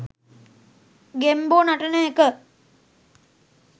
ගෙම්බෝ නටන එක